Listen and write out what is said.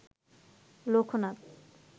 Loknath